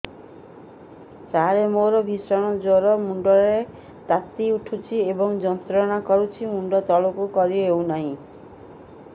ସାର ମୋର ଭୀଷଣ ଜ୍ଵର ମୁଣ୍ଡ ର ତାତି ଉଠୁଛି ଏବଂ ଯନ୍ତ୍ରଣା କରୁଛି ମୁଣ୍ଡ ତଳକୁ କରି ହେଉନାହିଁ